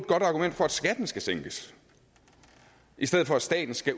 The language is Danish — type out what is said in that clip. godt argument for at skatten skal sænkes i stedet for at staten skal